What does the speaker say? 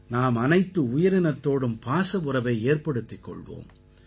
நாம் அனைத்து உயிரினத்தோடும் பாச உறவை ஏற்படுத்திக் கொள்வோம்